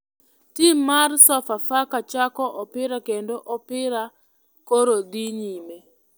Tim mar sofa faka chako opira kendo opira koro dhi nyime.